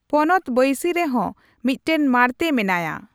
ᱯᱚᱱᱚᱛ ᱵᱟᱹᱭᱥᱤ ᱨᱮᱦᱚᱸ ᱢᱚᱫᱴᱟᱝ ᱢᱟᱲᱛᱮ ᱢᱮᱱᱟᱭᱟ ᱾